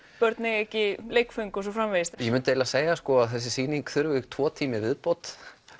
börn eiga ekki leikföng og svo framvegis ég myndi eiginlega segja að þessi sýning þyrfti tvo tíma í viðbót